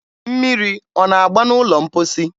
mmiri ọ na-agba n'ụlọ mkposi?